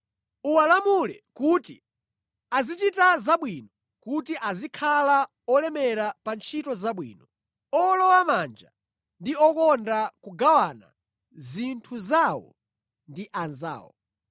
Uwalamule kuti azichita zabwino, kuti azikhala olemera pa ntchito zabwino, owolowamanja ndi okonda kugawana zinthu zawo ndi anzawo.